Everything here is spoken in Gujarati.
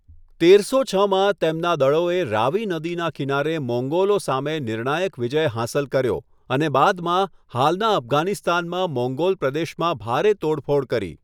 તેરસો છ માં, તેમના દળોએ રાવી નદીના કિનારે મોંગોલો સામે નિર્ણાયક વિજય હાંસલ કર્યો અને બાદમાં હાલનાં અફઘાનિસ્તાનમાં મોંગોલ પ્રદેશોમાં ભારે તોડફોડ કરી.